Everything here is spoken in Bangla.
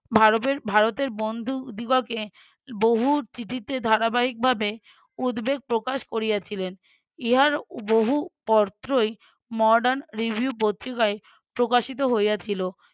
ভারবের~ ভারতের বন্ধুদিগকে বহু চিঠিতে ধারাবাহিকভাবে উদ্বেগ প্রকাশ করিয়াছিলেন। ইহার বহু পত্রই mordern review পত্রিকায় প্রকাশিত হইয়াছিল।